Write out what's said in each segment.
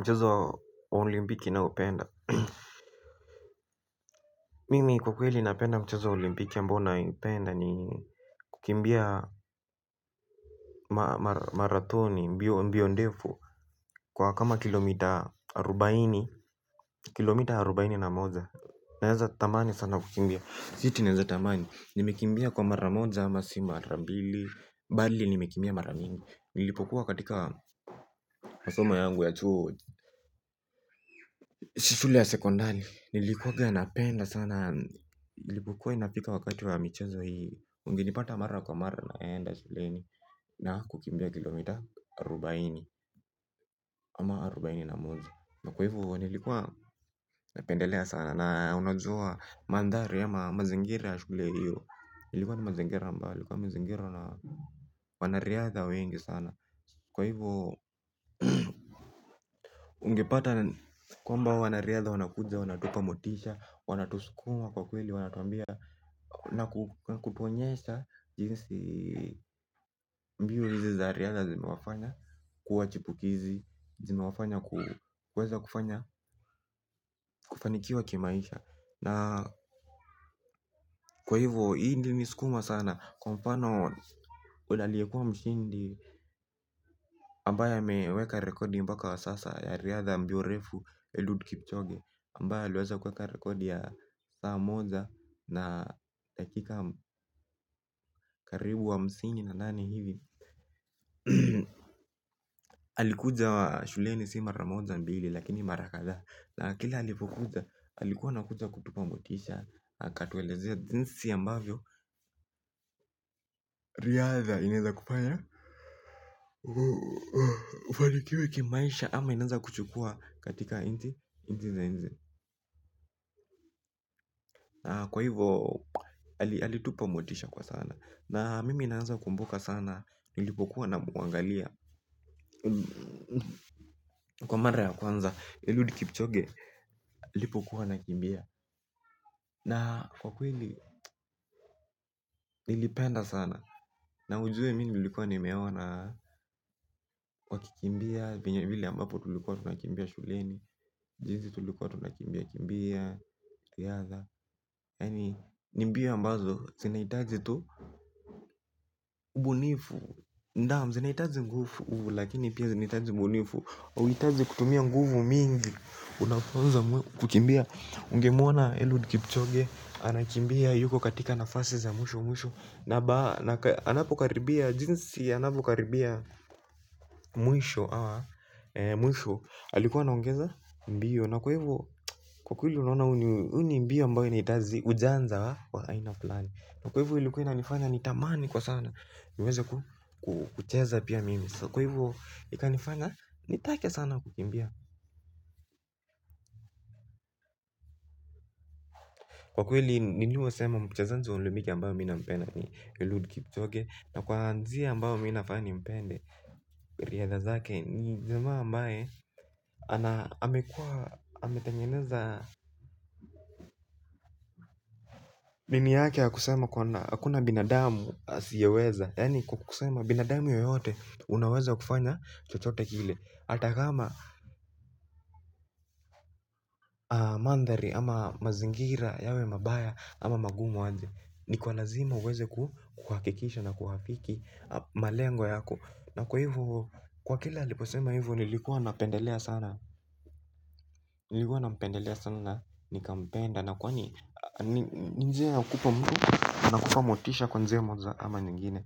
Mchezo wa olimpiki naupenda mimi kwa kweli napenda mchezo wa olimpiki ambao nayoipenda ni kukimbia marathoni mbio mbio ndefu kwa kama kilomita arubaini kilomita arubaini na moja naeza tamani sana kukimbia si ati naeza tamani nimekimbia kwa mara moja ama si mara mbili bali nimekimbia mara mingi nilipokuwa katika masomo yangu ya chuo shule ya sekondari nilikuwaga napenda sana. Na ilipokua inafika wakati wa michezo hii. Ungenipata mara kwa mara naenda shuleni. Na kukimbia kilomita arubaini ama arubaini na moja. Na kwa hivo nilikuwa napendelea sana. Na unajua manthari ama mazingira ya shule hiyo. Ilikuwa ni mazingira ambalo ilikuwa imezingirwa na wanariadha wengi sana. Kwa hivo ungepata kwamba wanariadha wanakuja wanatupa motisha wanatuskuma kwa kweli wanatuambia. Na kutuonyesha jinsi mbio hizi za Riadha zimewafanya kuwa chipukizi. Zinawafanya kuweza kufanya kufanikiwa kimaisha. Na kwa hivo hi ingeniskuma sana. Kwa mfano ule aliekuwa mshindi ambaye ameweka rekodi mpaka wa sasa ya Riadha ya mbio refu Eliud Kipchoge Ambaye aliweza kuweka rekodi ya saa moja na dakika karibu hamsini na nane hivi alikuja shuleni si mara moja mbili lakini mara kadhaa. Na kile alipokuja alikuwa anakuja kutupa motisha akatuelezea jinsi ambavyo Riadha inaeza kufanya ubarikiwe kimaisha ama inanza kuchukua katika inti. Kwa hivo alitupa motisha kwa sana. Na mimi naeza kumbuka sana. Nilipokuwa namuangalia. Kwa mara ya kwanza Eludi kipchoge aipokuwa anakimbia. Na kwa kweli nilipenda sana. Na ujue mimi nilikuwa nimeona. Kwa kikimbia venye vile ambapo tulikuwa tunakimbia shuleni. Jinzi tulikuwa tunakimbia kimbia riadha. Ni mbio ambazo zinahitaji tu Ubunifu. Naam zinahitaji nguvu lakini pia zinahitaji ubunifu hauhitaji kutumia nguvu mingi unafunza mwili kukimbia ungemwona Eliud Kipchoge anakimbia yuko katika nafasi za mwisho mwisho anakimbia na anapokaribia jinsi anavyokaribia. Mwisho Mwisho Alikuwa anaongeza mbio. Na kwaivo kwa kweli unaona huu ni mbio ambao unahitazi ujanja wa aina flani. Na kwa hivo ilikuwa inanifanya nitamani kwa sana niweze kucheza pia mimi. Kwaivo ikanifanya nitake sana kukimbia. Kwa kweli nilivyosema mchezanji wa olimpiki ambayo mimi nampenda. Na kwa njia ambao mimi nafaa nimpende. Riadha zake. Ni jamaa ambaye ametengeneza. Mimi yake ya kusema. Hakuna binadamu asiyeweza. Yani kwa kusema binadamu yoyote. Unaweza kufanya chochote kile hata kama manthari ama mazingira yawe mabaya ama magumu aje. Ni kwa lazima uweze kuhakikisha na kuafiki malengo yako. Na kwa hivo. Kwa kila aliposema hivyo nilikuwa napendelea sana. Nilikuwa napendelea sana. Nikampenda na kwani ni njia ya kupa mtu motisha. Kwa njia moja ama nyingine.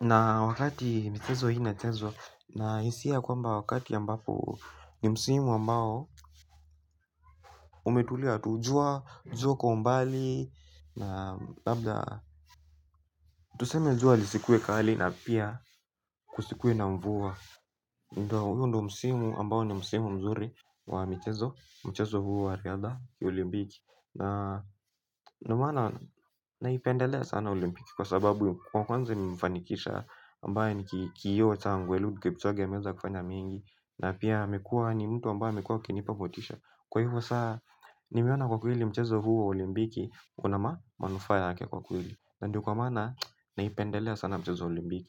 Na wakati michezo hii inachezwa na hisia kwamba wakati ambapo ni msimu ambao umetulia tu jua. Jua kwa umbali. Na labda tuseme jua lisikue kali na pia kusikue na mvua. Ndio hiyo ndo msimu ambao ni msimu mzuri wa michezo. Mchezo huu wa riadha ya olimbiki. Na unaoana naipendelea sana olimpiki. Kwa sababu kwa kwanza nimfanikisha ambaye ni kioo changu Eliud Kipchoge ameweza kufanya mengi. Na pia amekuwa ni mtu ambaye amekua akinipa motisha. Kwa hivyo saa nimeona kwa kweli mchezo huu wa olimpiki. Kuna ma manufaa yake kwa kweli. Ndiyo kwa maana naipendelea sana mchezo wa olimbiki.